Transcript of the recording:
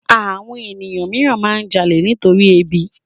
Àwọn ènìyàn mìíràn máa ń jalè nitorí ebi